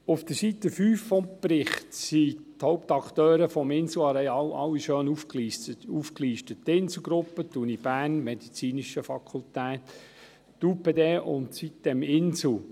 Auf der Seite 5 des Berichts sind die Hauptakteure des Inselareals alle schön aufgelistet: die Inselgruppe, die Uni Bern – medizinische Fakultät –, die UPD und sitem-insel.